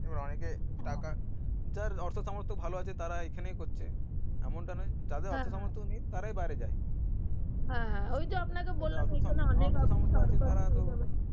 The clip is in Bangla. যার অর্থ সমর্থ ভালো আছে তারা এখানেই করছে এমনটা নোই যাদের তারাই বাইরে যাই